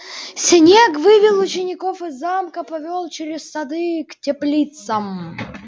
снегг вывел учеников из замка повёл через сады к теплицам